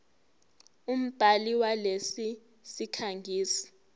umbhali walesi sikhangisi